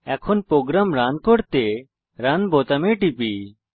এখন আমি program run করতে রান বোতামে টিপি